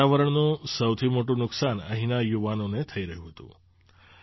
આ વાતાવરણનું સૌથી મોટું નુકસાન અહીંના યુવાનોને થઈ રહ્યું હતું